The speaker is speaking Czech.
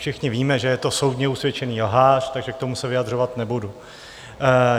Všichni víme, že je to soudně usvědčený lhář, takže k tomu se vyjadřovat nebudu.